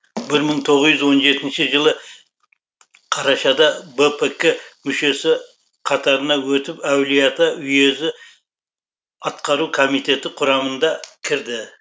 бір мың тоғыз жүз он жетінші жылы қарашада бпк мүшесі қатарына өтіп әулиеата уезі атқару комитеті құрамында кірді